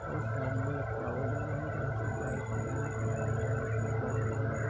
और सामने एक टावर डला है जहां से लाइट की राह लिकला है यहां ऊपर एक बड़ा टावर है।